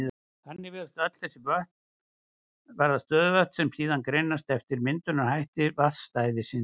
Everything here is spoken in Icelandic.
Þannig virðast öll þessi vötn vera stöðuvötn, sem síðan greinast eftir myndunarhætti vatnsstæðisins.